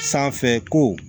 Sanfɛ ko